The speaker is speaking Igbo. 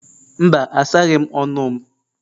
Mba, asaghị m ọnụ m.